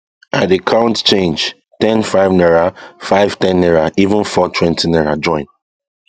i dey count change ten five naira five ten naira even four twenty naira join